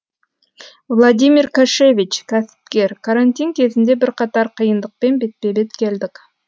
владимир кашевич кәсіпкер карантин кезінде бірқатар қиындықпен бетпе бет келдік